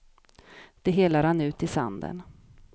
Det hela rann ut i sanden.